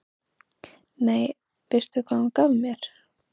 Nei, veistu hvað hún gaf mér?